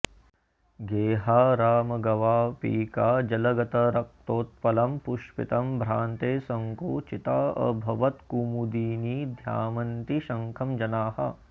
गेहारामगवापिकाजलगतं रक्तोत्पलं पुष्पितं भ्रान्ते सङ्कुचिताऽभवत्कुमुदिनी ध्मायन्ति शङ्खं जनाः